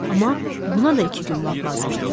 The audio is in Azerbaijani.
Amma buna da iki gün vaxt lazım idi.